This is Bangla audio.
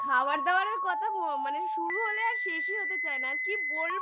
খাওয়ার দাওয়ারের কথা মানে শুরু হলে আর শেষই হতে চায়